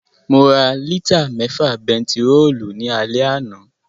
Mo ra lítà mẹ́fà bentiróòlù ní alẹ́ àná